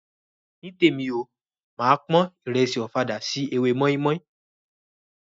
Nítèmi o, máa pon ìrẹsì ọ̀fadà sí ewé mọ́ímọ́í.